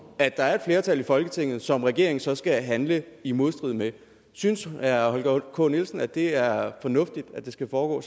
at der er et flertal i folketinget som regeringen så skal handle i modstrid med synes herre holger k nielsen at det er fornuftigt at det skal foregå